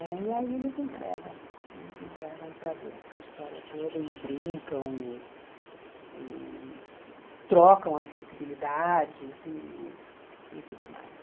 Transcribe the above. Né? E aí eles entregam, eles entregam para Deus a história toda e brincam e e trocam as sensibilidades e e tudo mais.